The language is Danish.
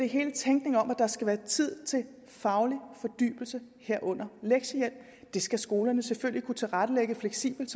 hele tænkningen om at der skal være tid til faglig fordybelse herunder lektiehjælp det skal skolerne selvfølgelig kunne tilrettelægge fleksibelt